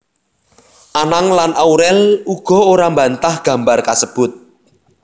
Anang lan Aurel uga ora mbantah gambar kasebut